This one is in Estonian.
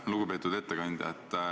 Lugupeetud ettekandja!